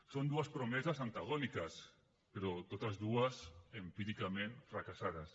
són dues promeses antagòniques però totes dues empíricament fracassades